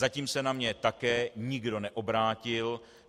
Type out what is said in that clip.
Zatím se na mě také nikdo neobrátil.